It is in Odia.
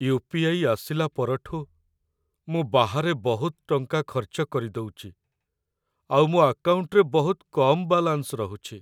ୟୁ.ପି.ଆଇ. ଆସିଲା ପରଠୁ, ମୁଁ ବାହାରେ ବହୁତ ଟଙ୍କା ଖର୍ଚ୍ଚ କରିଦଉଚି ଆଉ ମୋ ଆକାଉଣ୍ଟରେ ବହୁତ କମ୍ ବାଲାନ୍ସ ରହୁଚି ।